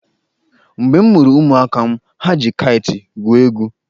Mgbe m mụrụ ụmụaka m, ha ji kaịtị gwuo egwu.